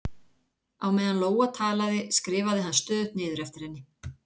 Á meðan Lóa talaði, skrifaði hann stöðugt niður eftir henni